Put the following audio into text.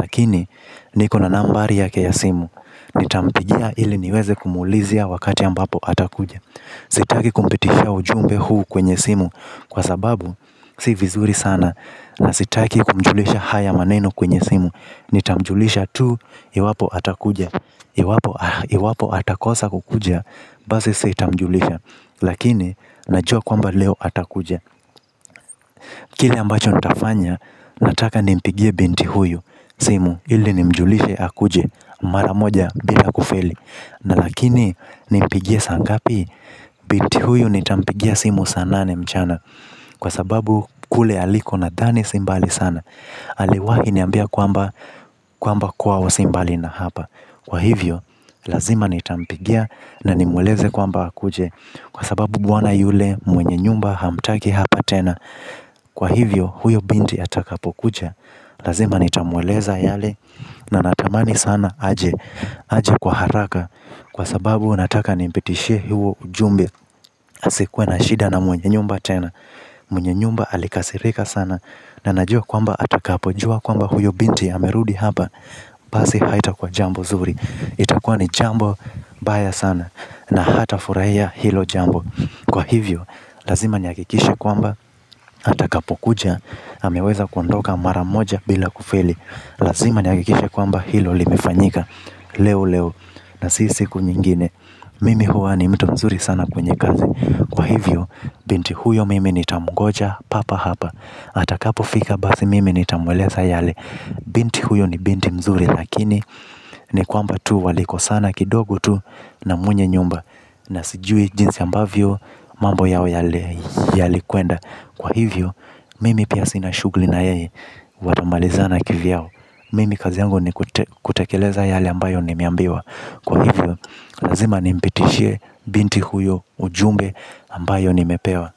lakini nipo na nambari yake ya simu. Nitampigia ili niweze kumuulizia wakati ambapo atakuja. Sitaki kumpitishia ujumbe huu kwenye simu. Kwa sababu si vizuri sana. Na sitaki kumjulisha haya maneno kwenye simu. Nitamjulisha tu. Iwapo atakuja iwapo atakosa kukuja, basi sita mjulisha. Lakini, najua kwamba leo atakuja. Kile ambacho nitafanya, nataka nimpigie binti huyu. Simu, ili nimjulishe akuje, maramoja bila kufeli. Na lakini, nimpigie saa ngapi, binti huyu nitampigia simu saa nane mchana. Kwa sababu, kule aliko nadhani simbali sana aliwahi niambia kwamba kwamba kwao si mbali na hapa kwa hivyo lazima nitampigia na ni mweleze kwamba akuje kwa sababu bwana yule mwenye nyumba hamtaki hapo tena kwa hivyo huyo binti atakapokuja lazima nitamweleza yale na natamani sana aje. Aje kwa haraka. Kwa sababu, nataka nimpitishie huo ujumbe. Asikuwe na shida na mwenye nyumba tena. Mwenye nyumba alikasirika sana. Na najua kwamba atakapo jua kwamba huyo binti amerudi hapa. Basi haita kuwa jambo nzuri. Itakuwa ni jambo mbaya sana na hata furahia hilo jambo. Kwa hivyo lazima ni hakikishe kwamba atakapokuja ameweza kuondoka mara moja bila kufeli. Lazima ni hakikishe kwamba hilo limefanyika leo leo na si siku nyingine. Mimi huwa ni mtu mzuri sana kwenye kazi. Kwa hivyo binti huyo mimi ni tamungoja papa hapa. Atakapo fika basi mimi ni tamweleza yale. Binti huyo ni binti mzuri lakini ni kwamba tu walikosana kidogu tu na mwenye nyumba. Na sijui jinsi ambavyo mambo yao yale yalikwenda. Kwa hivyo mimi pia sina shughuli na yeye watamalizana kivyao. Mimi kazi yangu ni kutekeleza yale ambayo nimeambiwa. Kwa hivyo lazima nimpitishie binti huyo ujumbe ambayo nimepewa.